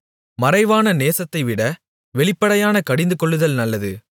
மறைவான நேசத்தைவிட வெளிப்படையான கடிந்துகொள்ளுதல் நல்லது